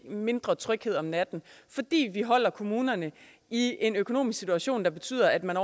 mindre tryghed om natten fordi vi holder kommunerne i en økonomisk situation der betyder at man